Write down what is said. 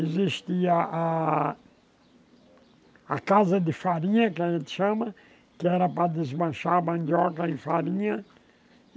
Existia a a casa de farinha, que a gente chama, que era para desmanchar a mandioca em farinha.